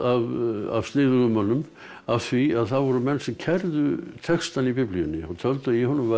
af sniðugum mönnum af því það voru menn sem kærðu textann í Biblíunni töldu að í honum væru